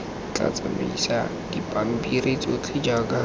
tla siamisa dipampiri tsotlhe jaaka